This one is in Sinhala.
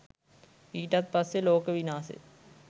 ඊටත් පස්සෙ ලෝක විනාසෙ